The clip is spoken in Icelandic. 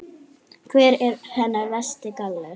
Hver er hennar versti galli?